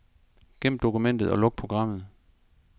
Gem dokumentet og luk programmet.